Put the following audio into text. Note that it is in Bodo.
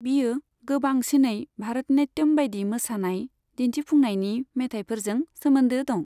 बियो गोबांसिनै भारत नाट्यम बायदि मोसानाय दिन्थिफुंनायनि मेथायफोरजों सोमोन्दो दं।